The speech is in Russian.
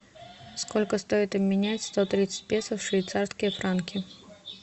сколько стоит обменять сто тридцать песо в швейцарские франки